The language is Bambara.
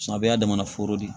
Samiya daminɛ foro de ye